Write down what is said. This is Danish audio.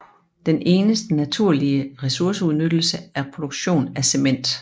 Den eneste naturlige ressourceudnyttelse er produktionen af cement